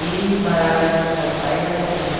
E quando ela casou com meu pai, ela tinha